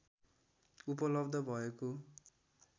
उपलब्ध भएको